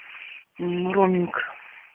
мм роуминг